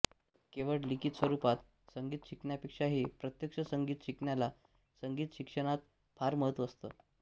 केवळ लिखित स्वरूपात संगीत शिकण्यापेक्षाही प्रत्यक्ष संगीत शिकण्याला संगीत शिक्षणात फार महत्त्व असतं